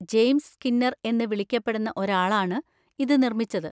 James Skinner എന്ന് വിളിക്കപ്പെടുന്ന ഒരാളാണ് ഇത് നിർമ്മിച്ചത്.